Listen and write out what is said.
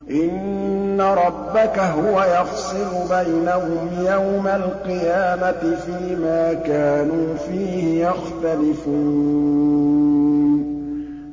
إِنَّ رَبَّكَ هُوَ يَفْصِلُ بَيْنَهُمْ يَوْمَ الْقِيَامَةِ فِيمَا كَانُوا فِيهِ يَخْتَلِفُونَ